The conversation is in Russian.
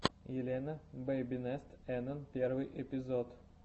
елена бэйбинест энэн первый эпизод